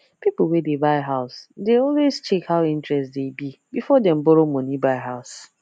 people wey dey buy house dey always check how interest dey be before dem borrow money buy house